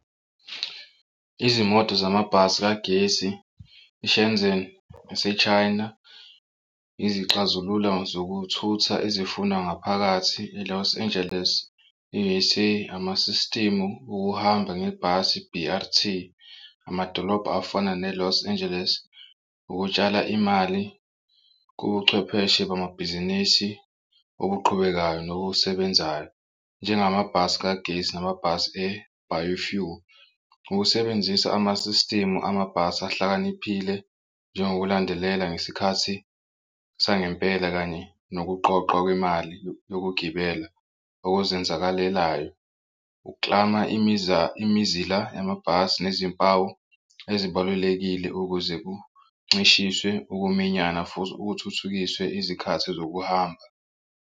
Izimoto zamabhasi kagesi e-Shenzhen ese-China izixazulula zokuthutha ezifunwa ngaphakathi e-Los Angeles e-U_S_A amasistimu okuhamba ngebhasi i-B_R_T. Amadolobha afana ne-Los Angeles ukutshala imali kubuchwepheshe bamabhizinisi okuqhubekayo nokusebenzayo nje ngamabhasi kagesi namabhasi e-bio fuel. Ukusebenzisa amasistimu amabhasi ahlakaniphile njengokulandelela ngesikhathi sangempela, kanye nokuqoqwa kwemali yokugibela okuzenzakalelayo ukuklama imizila yamabhasi nezimpawu ezibalulekile ukuze kuncishiswe ukuminyana futhi ukuthuthukiswe izikhathi zokuhamba.